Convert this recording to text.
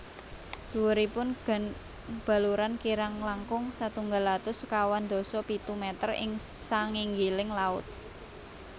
Dhuwuripun gunung Baluran kirang langkung setunggal atus sekawan dasa pitu meter ing sanginggiling laut